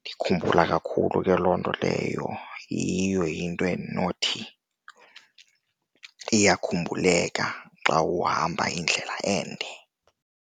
Ndikhumbula kakhulu ke loo nto leyo, yiyo into endinothi iyakhumbuleka xa uhamba indlela ende.